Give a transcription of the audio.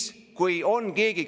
See ei ole debatt.